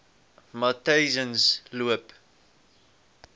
matyzensloop